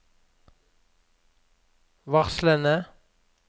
varslene